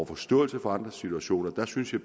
forståelse for andres situation jeg synes at